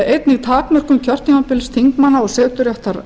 einnig takmörkun kjörtímabils þingmanna og seturéttar